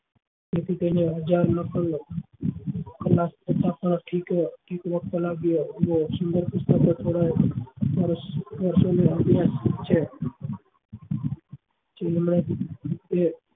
તેથી તેને હજાર